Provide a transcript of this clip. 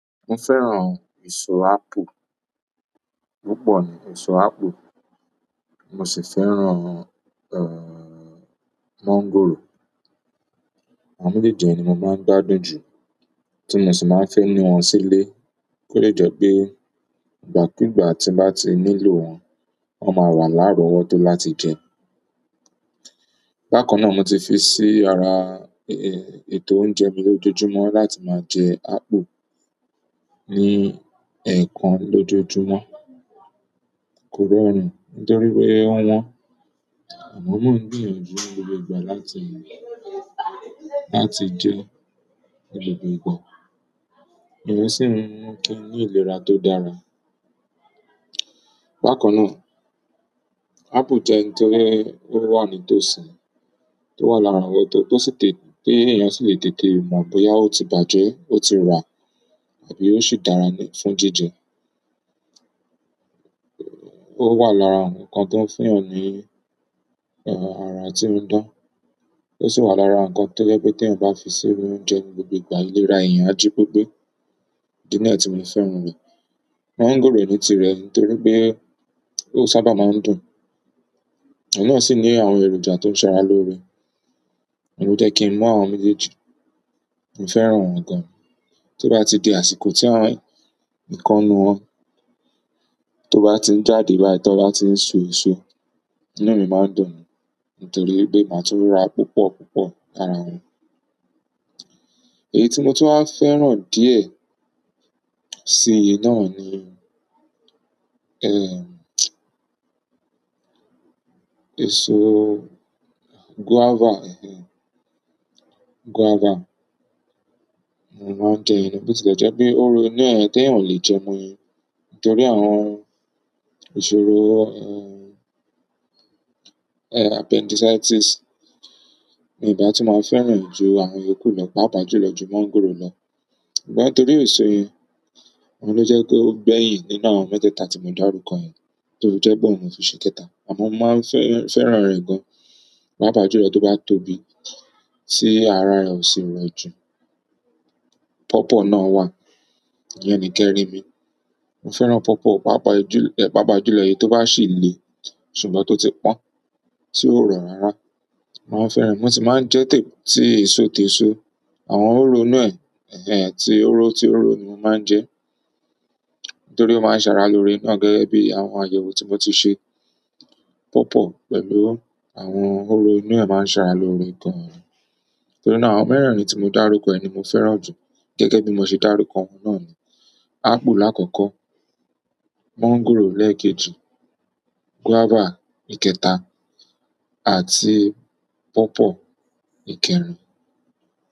Mo fẹ́ràn èso apple, púpọ̀ ni èso apple. Mo sì fẹ́ràn mọ́ńgòrò. Àwọn méjèèjì ni mo máa ń gbádùn jù. Tí mo sì máa ń fẹ́ mú wọn sílé, kí ó lè jẹ́ pé ìgbàkúùgbà tí mo bá ti nílò wọn, wọn máa wà lárọwọ́tó láti jẹ. Bákan na mo ti fi si ara ètò oúnjẹ me lojoojumo láti ma jẹ apple, ni ẹẹkan lojoojumo. Kò rọrùn nítorí o wọ́n, àmọ́ mo ń gbìyànjú ni gbogbo ìgbà láti, láti jẹ ni gbogbo ìgbà. Mio sì ń mú kín ni ìlera tó dára. Bákanná, apple jẹ́ ohun tó wà ní tòsí, tó wà láralọwọ́tó, ti èèyàn sì lè tètè mọ̀ bóyá ó ti bàjẹ́, ó ti rà àbí ó sì dára fún jíjẹ. Ó wà lára ǹkan tó ń fún èèyàn ní, ara tí ó ń dán. Ó sì wà lára ǹkan tó jẹ́ pé tí ẹ̀yin bá fi sí inú oúnjẹ ni gbogbo ìgbà, ìlera èèyàn á jí pepé. Idi niyen tí mo fi fẹ́ràn rẹ̀. Mọ́ńgòrò ní tirẹ̀ nítorí pé ó sábà máa ń dùn. Òun náà sì ní àwọn èròjà tó ń ṣàrà lóore. Òun jẹ́ kí n mu àwọn méjèèjì. Mo fẹ́ràn wọn gan. Tí ó bá ti di àsìkò tí ǹkan nù wọn, tó bá ti ń jáde bái tí ó bá ti ń so èso, inú mi máa ń dùn ni, nítorí pé màá tún ra púpọ̀ púpọ̀ lára wọn. Èyí tí mo tó fẹ́ràn díẹ̀ sí i náà ni, èso guava, guava. Mo máa ń jẹ iyen na. Bo ti lè jẹ́ pé hóro inú ẹ̀ tí èèyàn o le jẹ ni, nítorí àwọn ìṣòro appendicitis. Mio ba tu ma fẹ́ràn re ju àwọn iyoku lo, pàápàá jùlọ ju mango lọ ṣùgbọ́n torí eso yẹn, òun ló jẹ́ kó gbẹ̀yin nínú àwọn mẹ́tẹ̀ẹ̀ta tí mo dárúkọ yẹn. Torí guava ni mo fi ṣe kẹta. Àmọ́ mo máa fẹ́, fẹ́ràn rẹ̀ gan. Pápá julọ tó bá tóbi, tí ara rẹ̀ ò sì rọ jù. Pawpaw náà wà. Ìyẹn ni ikẹrin mi. Mo fẹ́ràn pawpaw pàápàá julọ, pàápàá jùlọ èyí tó bá sì le. Ṣùgbọ́n tó ti pọ́n, tí ó rọ rárá. Mo ma fẹ́ràn re. Mo sì máa ń jẹ tí èso teso. Àwọn hòro inú ẹ̀, ehen, ti òro, ti òro ni mo máa ń jẹ. Nítorí ó máa ń ṣàrà lóre náà, gẹ́gẹ́ bí àwọn àyẹ̀wò tí mo ti ṣe. Pawpaw pẹ̀lú àwọn òro inú ẹ̀ máa ń ṣàrà lóre gan. Nítorí náà àwọn mẹ́rẹ̀ẹ̀rin tí mo dárúkọ yìí ni mo fẹ́ràn jù gẹ́gẹ́ bí mo ṣe dárúkọ wọn náà ni. Apple lákọ̀ọ̀kọ́, mọ́ńgòrò lẹ́ẹ̀kejì, guava ìkẹta àti pawpaw ìkẹrin.